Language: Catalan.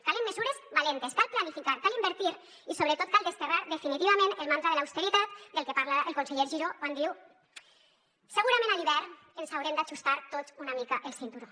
calen mesures valentes cal planificar cal invertir i sobretot cal desterrar definitivament el mantra de l’austeritat del que parla el conseller giró quan diu segurament a l’hivern ens haurem d’ajustar tots una mica el cinturó